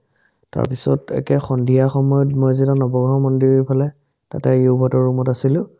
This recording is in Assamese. তাৰপিছত একে সন্ধিয়া সময়ত মই যেতিয়া নবগ্ৰহ মন্দিৰৰফালে তাতে যুবহতৰ room ত আছিলো